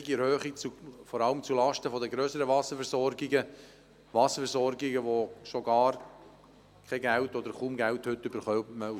Zudem geht eine Erhöhung vor allem zulasten der grösseren Wasserversorgungen, die bereits heute kein oder kaum Geld aus dem Fonds erhalten.